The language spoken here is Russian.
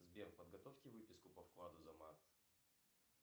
сбер подготовьте выписку по вкладу за март